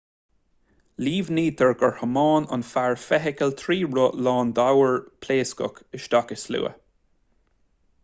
líomhnaítear gur thiomáin an fear feithicil trí roth lán d'ábhair phléascach isteach i slua